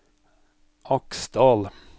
Aksdal